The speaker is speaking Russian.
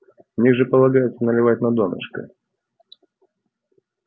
в них же полагается наливать на донышко